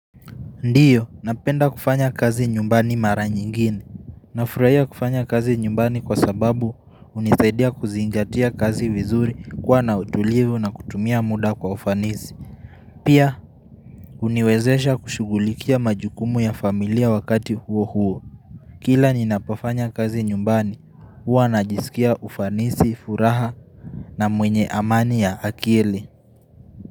Ndio, napenda kufanya kazi nyumbani mara nyingine. Nafurahia kufanya kazi nyumbani kwa sababu hunisaidia kuzingatia kazi vizuri kwa na utulivu na kutumia muda kwa ufanisi. Pia, uniwezesha kushugulikia majukumu ya familia wakati huo huo. Kila ninapofanya kazi nyumbani, huwa najisikia ufanisi, furaha na mwenye amani ya akili.